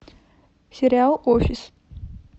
сериал офис